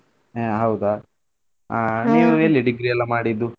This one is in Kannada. ಹಾ ಹೌದಾ ಆಹ್ ಎಲ್ಲಿ degree ಎಲ್ಲಾ ಮಾಡಿದ್ದೂ?